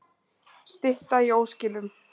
Stytta í óskilum